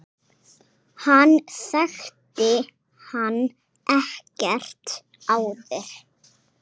Hann þekkti hann ekkert áður.